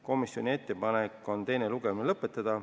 Komisjoni ettepanek on teine lugemine lõpetada.